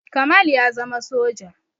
Kamal ya zama soja